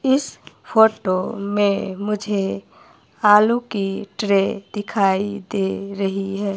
इस फोटो में मुझे आलू की ट्रे दिखाई दे रही है।